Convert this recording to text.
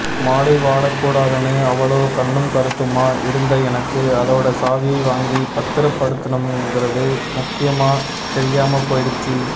மாலை வாடக்கூடாதுனு அவ்வளவு கண்ணும் கருத்துமா இருந்த எனக்கு அதோட சாவியை வாங்கி பத்திரப்படுத்தணும்ங்கிறது முக்கியமா தெரியாமப்போயிடுச்சு